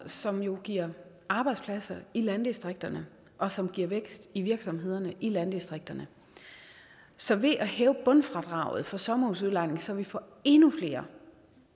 som jo giver arbejdspladser i landdistrikterne og som giver vækst i virksomhederne i landdistrikterne så ved at hæve bundfradraget for sommerhusudlejning så vi får endnu flere